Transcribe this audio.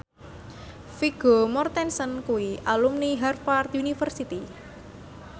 Vigo Mortensen kuwi alumni Harvard university